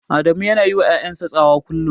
Adamu yana yiwa ƴaƴan sa tsawa kullum.